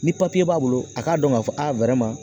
Ni papiye b'a bolo a k'a dɔn k'a fɔ a